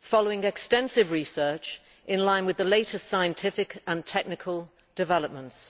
following extensive research in line with the latest scientific and technical developments.